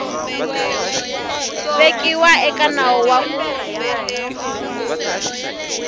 vekiwa eka nawu wa ku